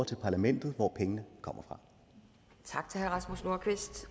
til parlamentet hvor pengene kommer fra